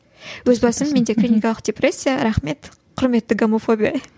өз басым менде клиникалық депрессия рахмет құрметті гомофобия